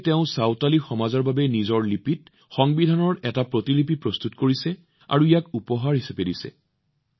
সেয়েহে তেওঁ সন্তলি সম্প্ৰদায়ৰ বাবে নিজৰ লিপিত সংবিধানৰ এটা প্ৰতিলিপি প্ৰস্তুত কৰিছে আৰু ইয়াক উপহাৰ হিচাপে দিছে